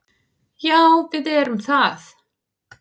Já, við erum það.